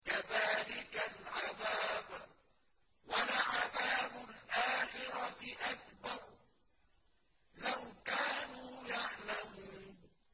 كَذَٰلِكَ الْعَذَابُ ۖ وَلَعَذَابُ الْآخِرَةِ أَكْبَرُ ۚ لَوْ كَانُوا يَعْلَمُونَ